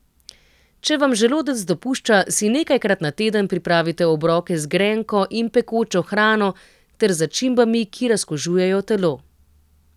Če vam želodec dopušča, si nekajkrat na teden pripravite obroke z grenko in pekočo hrano ter začimbami, ki razkužujejo telo.